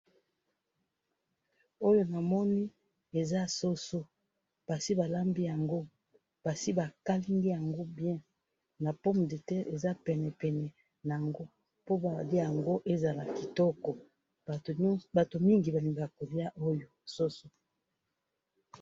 oyo namoni eza soso basi balambi yango basi bakalangi yango bien na pomme de terre eza pene pene nango po ba liya yango eza kitoko bato mingi balingaka koliya yango soso.